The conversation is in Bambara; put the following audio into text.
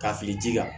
Ka fili ji ka